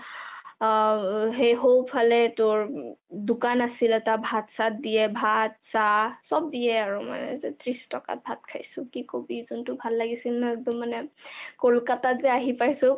অঅ তা্ৰ সোঁফালে তোৰ দোকান আছিলে তাত ভাত-চাত দিয়ে, ভাত, চাহ চব দিয়ে আৰু, ত্ৰিছ টকাত ভাত খাইছো , কি কবি যোনটো ভাল লাগিছিল ন কলকতাত যে আহি পাইছো